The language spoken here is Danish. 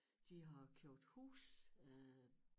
De har købt hus øh